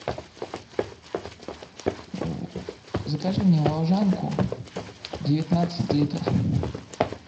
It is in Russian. закажи мне волжанку девятнадцать литров